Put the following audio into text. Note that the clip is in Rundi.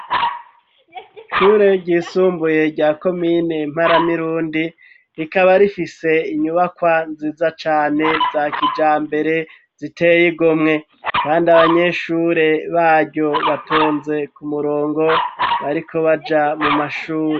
Ishure ryisumbuye rya komine mpara mirundi ,rikaba rifise inyubakwa nziza cane za kijambere, ziteye igomwe ,kandi abanyeshure baryo batonze ku murongo ,bariko baja mu mashuri.